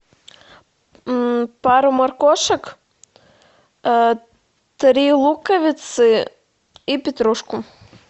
пару моркошек три луковицы и петрушку